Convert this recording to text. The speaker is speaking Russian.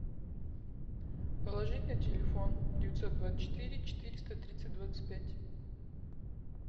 положить на телефон девятьсот двадцать четыре четыреста тридцать двадцать пять